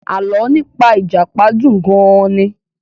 Alọ́ nípa ìjàpá dùn gan-an ni.